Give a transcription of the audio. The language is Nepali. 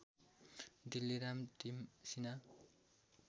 डिल्लीराम तिमसिना